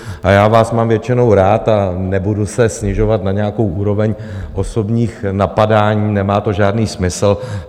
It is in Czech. A já vás mám většinou rád a nebudu se snižovat na nějakou úroveň osobních napadání, nemá to žádný smysl.